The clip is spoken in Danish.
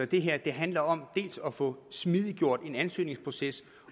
det her handler om dels at få smidiggjort en ansøgningsproces